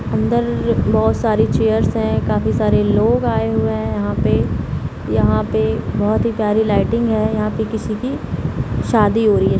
अंदर बहुत सारे चेयरस हैं काफी सारे लोग आए हुए हैं यहाँ पे यहाँ पे बहुत ही प्यारी लाइटिंग है यहाँ पे किसी की शादी हो रही है।